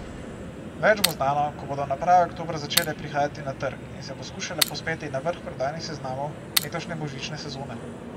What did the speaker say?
Več bo znano, ko bodo naprave oktobra začele prihajati na trg in se poskušale povzpeti na vrh prodajnih seznamov letošnje božične sezone.